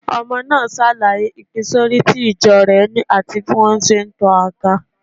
Ọmọ náà ṣàlàyé ìpínsísọ̀rí tí ìjọ rẹ̀ ni àti bí wọ́n ṣe ń to aga.